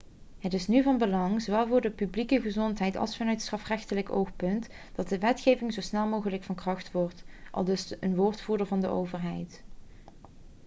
'het is nu van belang zowel voor de publieke gezondheid als vanuit strafrechtelijk oogpunt dat de wetgeving zo snel mogelijk van kracht wordt,' aldus een woordvoerder van de overheid